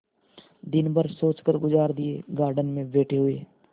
दिन भर सोचकर गुजार दिएगार्डन में बैठे हुए